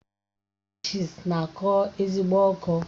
Rashịịsi na-akọ ezigbo ọkọ